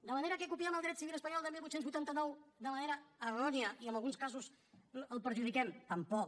de manera que copiem el dret civil espanyol de divuit vuitanta nou de manera errònia i en alguns casos el perjudiquem tampoc